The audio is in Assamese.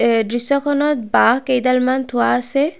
এই দৃশ্যখনত বাঁহ কেইডালমন থোৱা আছে।